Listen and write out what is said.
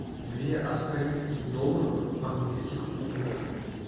две австралийских долларов в английских фунтах